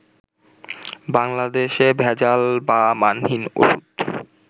বাংলাদেশে ভেজাল বা মানহীন ওষুধ